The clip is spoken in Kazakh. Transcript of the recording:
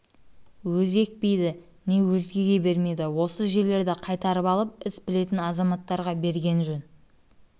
өзі екпейді не өзгеге бермейді осы жерлерді қайтарып алып іс білетін азаматтарға берген жөн деген